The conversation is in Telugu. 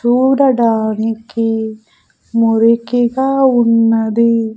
చూడడానికి మురికిగా ఉన్నది.